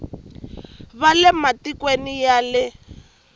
va le matikweni ya le